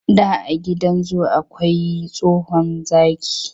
Da a gidan zu akwai wani tsohon zaki,